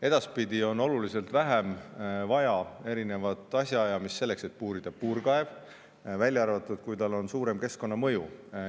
Edaspidi on oluliselt vähem vaja erinevat asjaajamist selleks, et puurida puurkaev, välja arvatud siis, kui tal on suurem keskkonnamõju.